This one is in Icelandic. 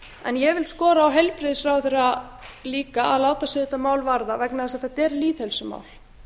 en ég vil skora á heilbrigðisráðherra líka að láta sig þetta mál varða vegna þess að þetta er lýðheilsumál